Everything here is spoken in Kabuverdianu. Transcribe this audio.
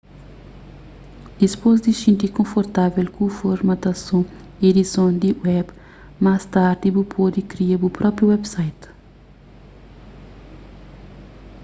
dipôs di xinti konfortável ku formatason y edison di web más tardi bu pode kria bu própi website